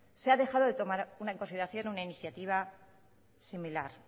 se ha dejado de tomar en consideración una iniciativa similar